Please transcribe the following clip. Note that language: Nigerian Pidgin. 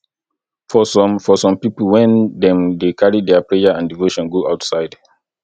for some for some pipo when dem dey carry their prayer and devotion go outside